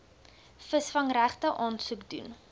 visvangsregte aansoek doen